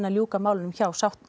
ljúka málunum hjá